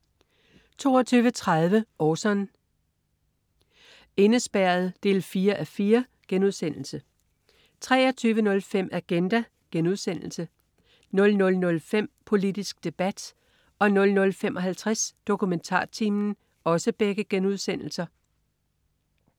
22.30 Orson: Indespærret 4:4* 23.05 Agenda* 00.05 Politisk debat* 00.55 DokumentarTimen*